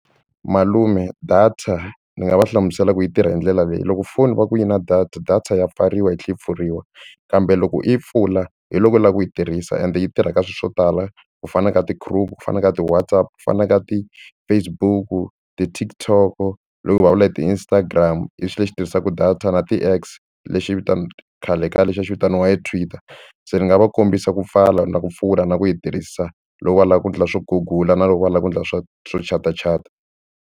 Malume data ndzi nga va hlamusela ku yi tirha hi ndlela leyi loko foni va ku yi na data data ya pfariwa yi tlhe yi pfuriwa kambe loko yi pfula hi loko u lava ku yi tirhisa ende yi tirha ka swilo swo tala ku fana na ka ti-Chrome ku fana na ka ti-WhatsApp ku fana na ka ti-Facebook ti-TikTok loko hi vulavula hi ti-Instagram i xilo lexi tirhisaku data na ti-X lexi vita khale ka lexi a xi vitaniwa hi Twitter se ni nga va kombisa ku pfala ni la ku pfula na ku yi tirhisa loko va lava ku endla swo gugula na loko va lava ku endla swo swo chatachata.